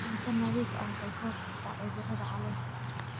Cunto nadiif ah waxay ka hortagtaa cudurrada caloosha.